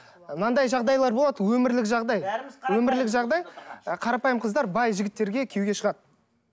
мынандай жағдайлар болады өмірлік жағдай бәріміз қарап өмірлік жағдай қарапайым қыздар бай жігіттерге күйеуге шығады